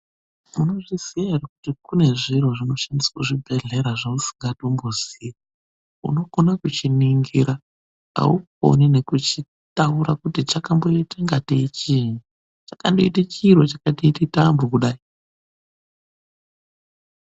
Unozviziyaere kuti kune zviro zvinoshandiswa kuzvibhedhlera zvausingatombozii. Unokona kuchiningira ,aukoni nekutaura kuti chakamboita kungaiteyi chiinyi .Chakandoite chiro chakatoite tambo kudai.